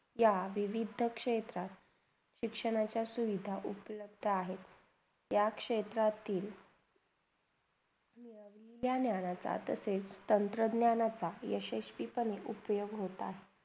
त्या विविध क्षेत्रात, शिक्षणाच्या सुविधा उपलब्ध आहे, त्या क्षेत्रातील त्या ज्ञानाचा जात असेल तर त्या ज्ञानांचा यशस्वी पणे उपयोग होत आहे.